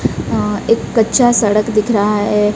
अह एक कच्चा सड़क दिख रहा है।